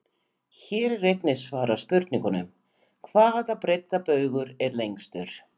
Hér er einnig svarað spurningunum: Hvaða breiddarbaugur er lengstur?